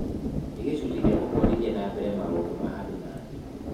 "Nĩ gĩcunjĩ gĩa gũtwarithia na mbere maũndũ ma andũ na thĩ."